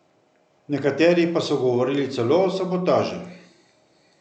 Nekateri pa so govorili celo o sabotaži.